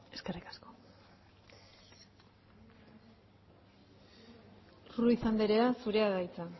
eskerrik asko ruiz andrea zurea da hitza